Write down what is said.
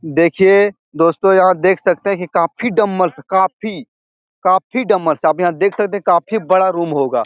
देखिए दोस्तों यहाँ देख सकते हैं काफी डमरस काफी काफी डमरस आप यहाँ देख सकते हैं काफी बड़ा रूम होगा।